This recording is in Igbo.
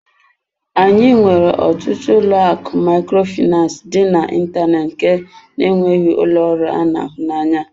Anyị nwere ọtụtụ ụlọ akụ Microfinance dị n'ịntanetị nke na-enweghị ụlọ ọrụ anụ ahụ anya.